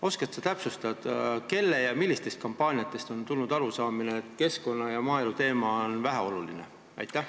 Oskad sa täpsustada, kelle ja millistest kampaaniatest on tekkinud arusaamine, et keskkonna- ja maaeluteema on väheoluline?